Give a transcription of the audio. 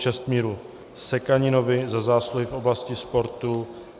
Čestmíru Sekaninovi za zásluhy v oblasti sportu